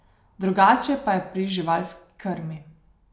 Drugače pa je pri živalski krmi.